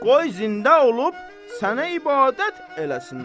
Qoy zində olub sənə ibadət eləsinlər.